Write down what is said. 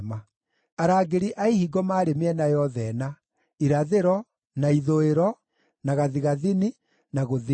Arangĩri a ihingo maarĩ mĩena yothe ĩna: irathĩro, na ithũĩro, na gathigathini, na gũthini.